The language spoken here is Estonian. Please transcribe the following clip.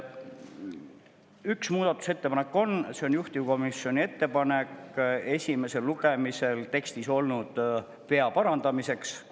Üks muudatusettepanek, mis on juhtivkomisjoni ettepanek, on esimese lugemise tekstis olnud vea parandamiseks.